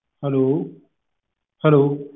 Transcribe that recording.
hello hello